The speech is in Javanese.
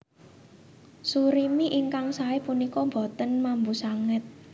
Surimi ingkang saé punika boten mambu sanget